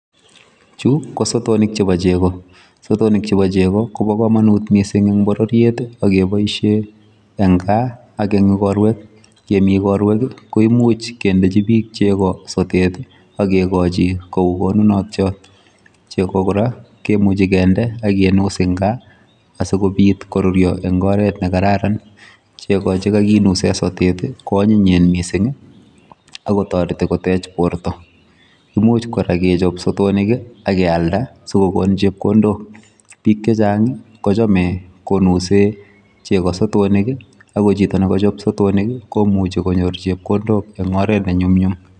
chu kosotonik chebo chego, sotonik chebo chego kobokomonutit mising en bororyeet iiuh ak keboishen en gaa ak een igorweek koimuch kemii igorweek koimuch kendechi biik chego sotet iih ak kigochii kouu konunotyoot, chego koraa kimuche kende ak kimuus en kaa asigobiit koruryoo en oreet negararan, chego chegaginusen sotet iih koonyinyien mising ak kotoreti koteech borto, kimuuch koraa kechob sotonik ak keyalda sigogon chepkondook, biik chechang kochome konusee chego sotonik iih ago chito negochop sotonik iih komuche konyoor chepkondook en oreet nenyumnyum